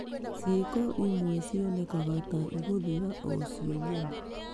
Ciiko imwe cionekaga ta igũthira o cio nyene.